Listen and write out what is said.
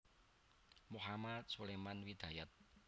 Mohamad Suleman Hidayat